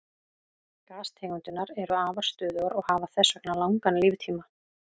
Gastegundirnar eru afar stöðugar og hafa þess vegna langan líftíma.